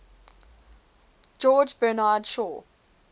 george bernard shaw